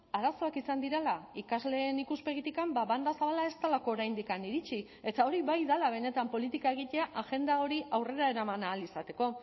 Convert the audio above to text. arazoak izan direla ikasleen ikuspegitik banda zabala ez delako oraindik iritsi eta hori bai dela benetan politika egitea agenda hori aurrera eraman ahal izateko